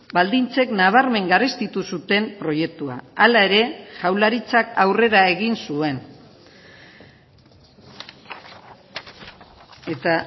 baldintzek nabarmen garestitu zuten proiektua hala ere jaurlaritzak aurrera egin zuen eta